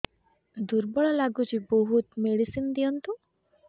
ଦୁର୍ବଳ ଲାଗୁଚି ବହୁତ ମେଡିସିନ ଦିଅନ୍ତୁ